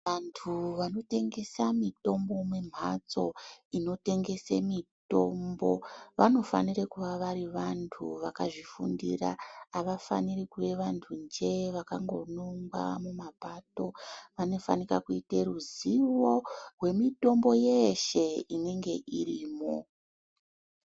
Antu vanotengesa mitombo mumhatso inotengese mitombo vanofanire kuva vari vantu vakazvifundira, havafaniri kuve vantu njee vakanongwa mumapato vanofanika kuite ruzivo rwemitombo yeshe inenge irimwo.